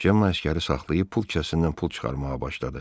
Cemma əsgəri saxlayıb pul kəssindən pul çıxarmağa başladı.